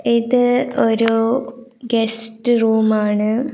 ഇത് ഒരു guest room ആണ്.